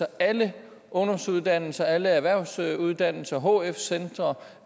alle ungdomsuddannelser alle erhvervsuddannelser alle hf centre